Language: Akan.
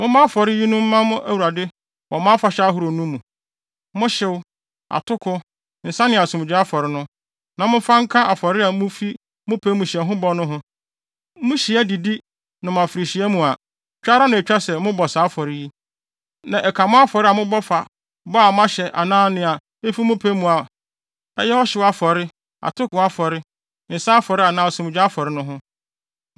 “ ‘Mommɔ afɔre yinom mma mo Awurade wɔ mo afahyɛ ahorow no nu: mo hyew, atoko, nsa ne asomdwoe afɔre no; na momfa nka afɔre a mufi mo pɛ mu hyɛ ho bɔ no no ho. Muhyia, didi afirihyia no mu a, twa ara na etwa sɛ mobɔ saa afɔre yi. Na ɛka mo afɔre a mobɔ fa bɔ a moahyɛ anaa nea efi mo pɛ mu a ɛyɛ ɔhyew afɔre, atoko afɔre, nsa afɔre anaa asomdwoe afɔre no ho.’ ”